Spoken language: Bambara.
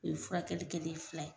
U ye furakɛli kɛlen ye fila ye.